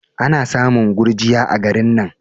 Ana samun gurjiya a garin nan.